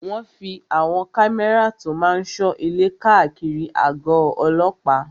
Wọ́n fí àwọn kámẹ́rà tó máa n sọ ilé káàkiri àgọ̀ ọlọ́pàá